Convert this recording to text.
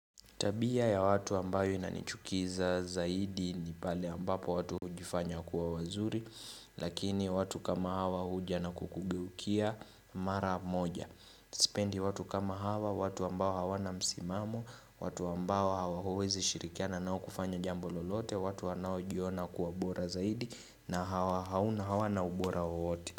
Tabia ya watu ambayo inanichukiza zaidi ni pale ambapo watu hujifanya kuwa wazuri, lakini watu kama hawa huja na kukugeukia mara moja. Sipendi watu kama hawa, watu ambao hawana msimamo, watu ambao huwezi shirikiana nao kufanya jambo lolote, watu wanaojiona kuwa bora zaidi na hawana ubora wowote.